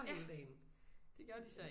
Ja det gjorde de så ikke